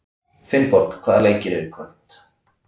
Finnborg, hvaða leikir eru í kvöld?